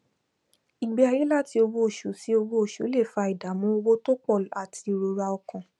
ìgbé ayé láti owó oṣù sí owó oṣù lè fa ìdàmú owó tó pọ àti ìrora ọkàn